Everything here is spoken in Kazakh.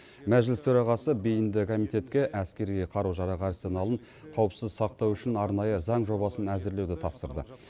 мәжіліс төрағасы бейінді комитетке әскери қару жарақ арсеналын қауіпсіз сақтау үшін арнайы заң жобасын әзірлеуді тапсырды